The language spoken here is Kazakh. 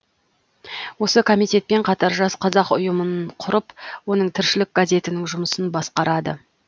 осы комитетпен қатар жас қазақ ұйымын құрып оның тіршілік газетінің жұмысын басқарады